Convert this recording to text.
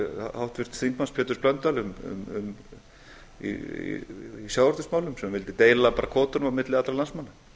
háttvirts þingmanns péturs blöndals í sjávarútvegsmálum sem vildi deila bara kvótanum á milli allra landsmanna